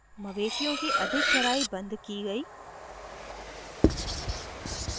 मवेशिओं की अधिक चराई banned की गयी